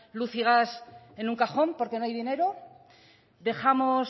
luz y gas en un cajón porque no hay dinero dejamos